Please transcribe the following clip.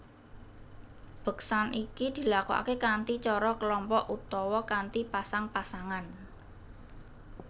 Beksan iki dilakokake kanthi cara kelompok utawa kanthi pasang pasangan